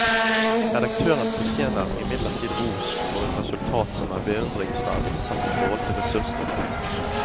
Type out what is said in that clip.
Redaktøren fortjener imidlertid ros for et resultat som er beundringsverdig sett i forhold til ressursene.